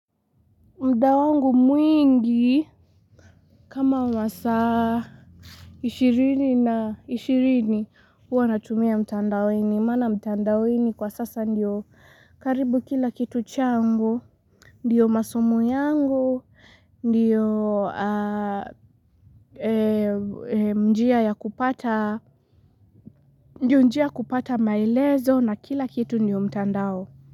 Mudawangu mwingi kama masaa ishirini na ishirini huwa natumia mtandaweni. Maana mtandaweni kwa sasa ndiyo karibu kila kitu changu. Ndiyo masomo yangu, ndiyo njia kupata maelezo na kila kitu ndiyo mtandao.